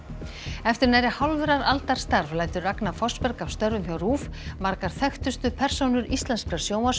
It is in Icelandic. eftir nærri hálfrar aldar starf lætur Ragna Fossberg af störfum hjá RÚV margar þekktustu persónur íslenskrar